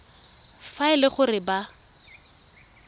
fa e le gore ba